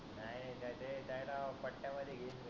काय राव